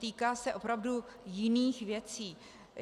Týká se opravdu jiných věcí.